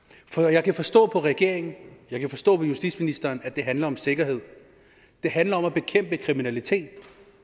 jeg kan forstå på regeringen og jeg kan forstå på justitsministeren at det handler om sikkerhed at det handler om at bekæmpe kriminalitet